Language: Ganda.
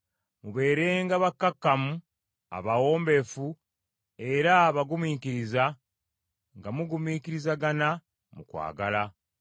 Mubeerenga bakkakkamu, abawombeefu era abagumiikiriza, nga mugumiikirizagana mu kwagala.